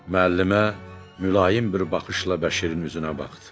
Müəllimə mülayim bir baxışla Bəşirin üzünə baxdı.